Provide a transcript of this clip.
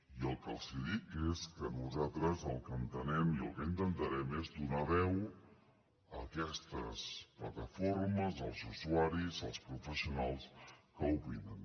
i el que els dic és que nosaltres el que entenem i el que intentarem és donar veu a aquestes plataformes els usuaris els professionals que opinen